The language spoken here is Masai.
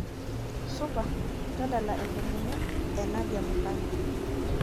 supa tadala enkomono enadia mukami